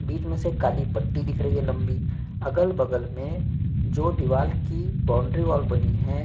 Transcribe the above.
बीच में से काली पट्टी दिख रही है लंबी अगल-बगल में जो दीवाल की बॉउंड्री वॉल बनी हैं।